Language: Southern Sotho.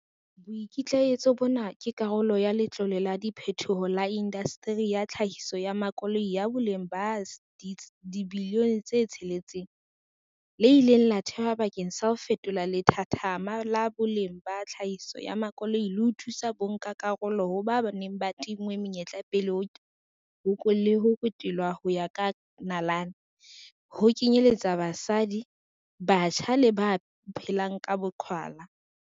Boikitlaetso bona ke karolo ya Letlole la Diphethoho la Indaseteri ya Tlhahiso ya Makoloi, ya boleng ba R6 bilione, le ileng la thehwa bakeng sa ho fetola lethathama la boleng la tlhahiso ya makoloi le ho thusa ka bonkakarolo ho ba ba neng ba tinngwe menyetla pele le ho kotelwa ho ya ka nalane, ho kenyeletswa basadi, batjha le ba phelang ka boqhwala.